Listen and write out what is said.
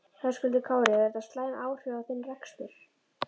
Höskuldur Kári: Hefur þetta slæm áhrif á þinn rekstur?